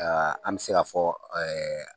A an mɛ se k'a fɔ